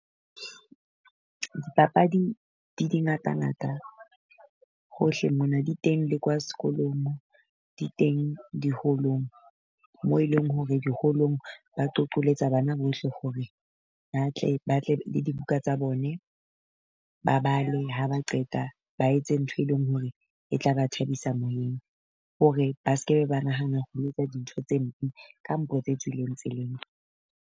Dipapadi di di ngata ngata hohle mona di teng le kwa sekolong, di teng di-hall-ong. Mo eleng hore di-hall-ong ba qoqolletsa bana bohle hore ba tle ba tle dibuka tsa bone, ba bale ha ba qeta ba etse ntho e leng hore e tla ba thabisa moyeng. Hore ba se ke ba nahana ho etsa dintho tse mpe kampo tse tswileng tseleng.